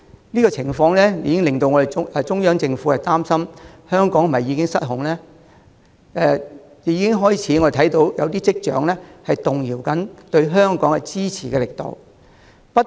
這個情況已令中央政府擔心香港是否已經失控。我們亦已開始看到一些跡象，顯示中央政府對香港的支持正在動搖。